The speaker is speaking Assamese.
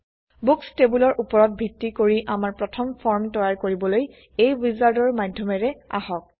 বুক্স টেবোলৰ উপৰত ভিত্তি কৰি আমাৰ প্ৰথম ফৰ্ম তৈয়াৰ কৰিবলৈ এই উইজাৰ্ডৰ মাধ্যমেৰে আহক